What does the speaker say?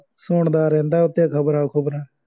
ਸੁਣਦਾ ਰਹਿੰਦਾ ਉਹ ਤੇ ਖਬਰਾਂ ਖੂਬਰਾਂ